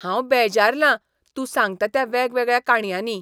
हांव बेजारलां तूं सांगता त्या वेगवेगळ्या काणयांनी.